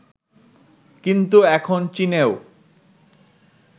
কিন্তু এখন চীনেও